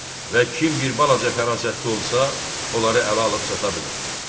Və kim bir balaca fərasətli olsa, onları ələ alıb sata bilər.